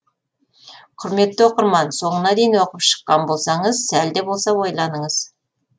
құрметті оқырман соңына дейін оқып шыққан болсаңыз сәл де болса ойланыңыз